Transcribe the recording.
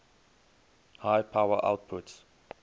high power outputs